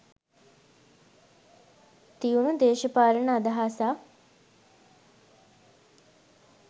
තියුණු දේශපාලන අදහසක්